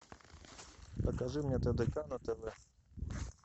покажи мне тдк на тв